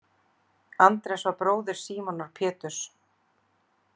Andrés var bróðir Símonar Péturs.